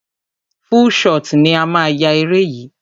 Full shot ni a máa yá eré yìí.